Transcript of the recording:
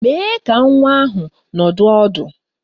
Mèé ka nwa ahụ nọdụ ọdụ